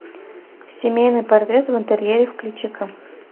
семейный портрет в интерьере включи ка